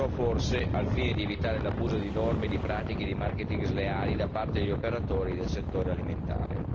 ciò, forse al fine di evitare l'abuso di norme, di pratiche, di marketing sleali da parte degli operatori del settore alimentare.